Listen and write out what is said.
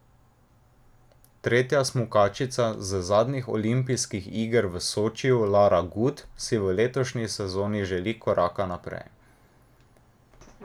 Tretja smukačica z zadnjih olimpijskih iger v Sočiju Lara Gut, si v letošnji sezoni želi koraka naprej.